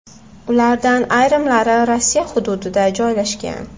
Ulardan ayrimlari Rossiya hududida joylashgan.